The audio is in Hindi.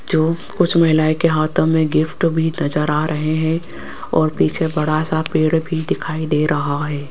जो कुछ महिलाएं के हाथों में गिफ्ट भी नजर आ रहे हैं और पीछे बड़ा सा पेड़ भी दिखाई दे रहा है।